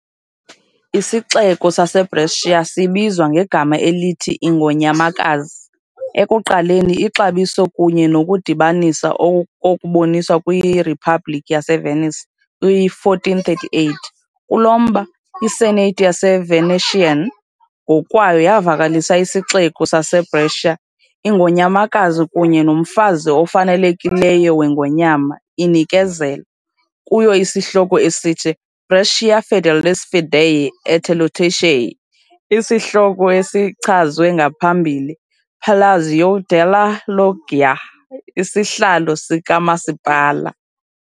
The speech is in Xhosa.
Isixeko saseBrescia sibizwa ngegama elithi "Ingonyamakazi", ekuqaleni ixabiso kunye nokudibanisa okuboniswe kwiRiphabhlikhi yaseVenice - kwi-1438, kulo mba, i- Senate yaseVenetian ngokwayo yavakalisa isixeko saseBrescia "Ingonyamakazi kunye nomfazi ofanelekileyo weNgonyama" inikezela. kuyo isihloko esithi "Brixia Fidelis fidei et Iustitiae", isihloko esichazwe ngaphambili Palazzo della Loggia, isihlalo sikamasipala.